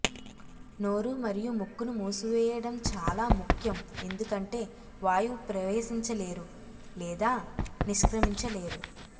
నోరు మరియు ముక్కును మూసివేయడం చాలా ముఖ్యం ఎందుకంటే వాయువు ప్రవేశించలేరు లేదా నిష్క్రమించలేరు